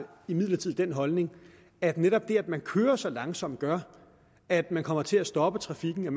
imidlertid den holdning at netop det at man kører så langsomt gør at man kommer til at stoppe trafikken og